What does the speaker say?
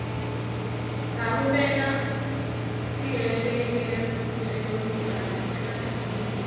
ka romelwa seeleketeronikhali ke rakhemisi